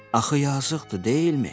Axı yazıqdır, deyilmi?